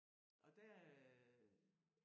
Og der øh